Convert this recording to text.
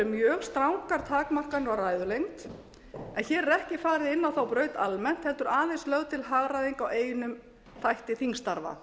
mjög strangar takmarkanir á ræðulengd en hér er ekki farið inn á þá braut almennt heldur aðeins lögð til hagræðing á einum þætti þingstarfa